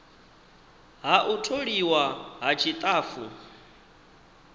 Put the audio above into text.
ha u tholiwa ha tshitafu